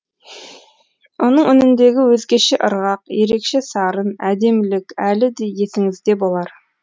оның үніндегі өзгеше ырғақ ерекше сарын әдемілік әлі де есіңізде болар